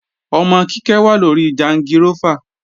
Ọmọ Kíkẹ́ wà lóri jangirófà